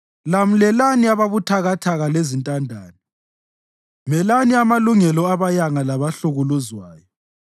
Lamlelani ababuthakathaka lezintandane; melani amalungelo abayanga labahlukuluzwayo.